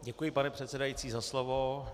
Děkuji, pane předsedající, za slovo.